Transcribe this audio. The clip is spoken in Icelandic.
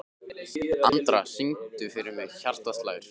Andra, syngdu fyrir mig „Hjartað slær“.